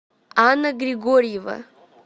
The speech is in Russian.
анна григорьева